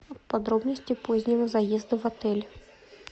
подробности позднего заезда в отель